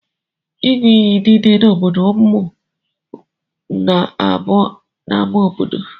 Inyụ iyi nile na obodo mụ na abu n'ama obodo.